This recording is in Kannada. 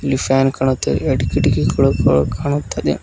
ಈ ಫ್ಯಾನ್ ಕಾಣುತ್ತೆ ಎರಡ್ ಕಿಡಕಿಗಳ ಗಳ ಕಾಣುತ್ತದೆ.